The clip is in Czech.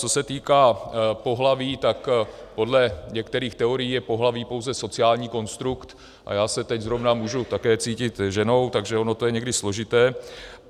Co se týká pohlaví, tak podle některých teorií je pohlaví pouze sociální konstrukt a já se teď zrovna můžu také cítit ženou, takže ono to je někdy složité.